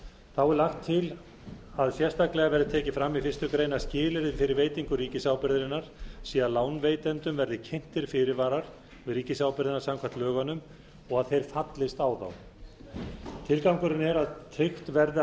þá er lagt til að sérstaklega verði tekið fram í fyrstu grein að skilyrði fyrir veitingu ríkisábyrgðarinnar sé að lánveitendum verði kynntir fyrirvarar við ríkisábyrgðina samkvæmt lögunum og að þeir fallist á þá tilgangurinn er að tryggt verði að